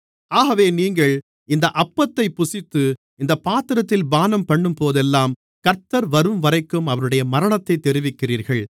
ஆகவே நீங்கள் இந்த அப்பத்தைப் புசித்து இந்தப் பாத்திரத்தில் பானம்பண்ணும்போதெல்லாம் கர்த்தர் வரும்வரைக்கும் அவருடைய மரணத்தைத் தெரிவிக்கிறீர்கள்